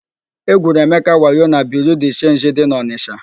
E gwuru Emeka wayo na Biriu de Chenji dị n'Ọnisha.